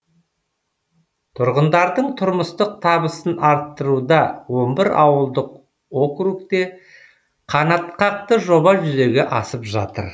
тұрғындардың тұрмыстық табысын арттыруда он бір ауылдық округте қанатқақты жоба жүзеге асып жатыр